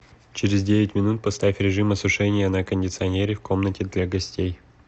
через девять минут поставь режим осушения на кондиционере в комнате для гостей